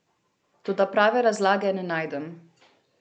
Toda prave razlage ne najdem.